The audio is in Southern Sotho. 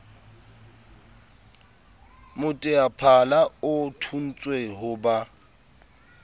moteaphala o thontswe ho ba